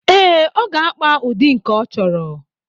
Ee, ọ ga-akpa ụdị nke ọ chọrọ.